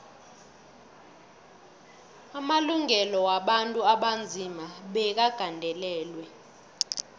amalungelo wabantu abanzima bekagandelelwe